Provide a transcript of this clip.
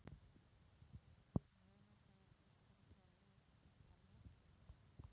Munu þeir styrkja lið ykkar mikið?